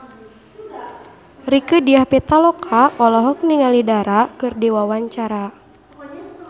Rieke Diah Pitaloka olohok ningali Dara keur diwawancara